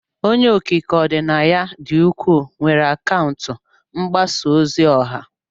Onye okike ọdịnaya dị ukwuu, nwere akaụntụ mgbasa ozi ọha.